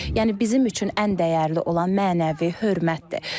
Yəni bizim üçün ən dəyərli olan mənəvi hörmətdir.